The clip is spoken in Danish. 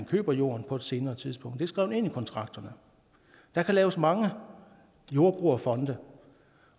køber jorden på et senere tidspunkt det er skrevet ind i kontrakten der kan laves mange jordbrugerfonde